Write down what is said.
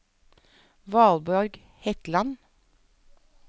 Valborg Hetland